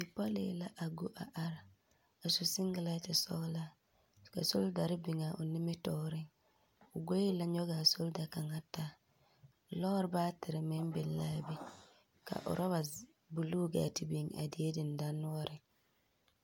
Bipͻlii la a go are, a su sengelԑnte sͻgelaa ka solidare biŋaa o nimitͻͻreŋ. O goe la nyͻŋaa solida kaŋa taa. lͻͻre baatere meŋ biŋ la a be orͻba buluu gaa te biŋ a die dendanoͻreŋ.